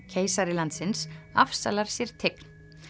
keisari landsins afsalar sér tign